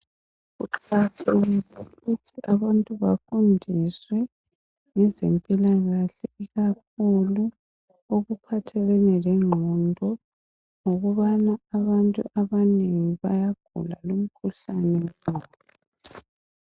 Kuqakathekile ukuthi abantu bafundiswe ngezempilakahle ikakhulu okuphathelene lengqondo ngokubana abantu abanengi bayagula lumkhuhlane wengqondo.